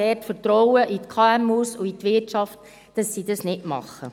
Ich habe dort Vertrauen in die KMU und in die Wirtschaft, dass sie dies nicht tun werden.